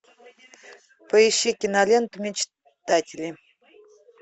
поищи киноленту мечтатели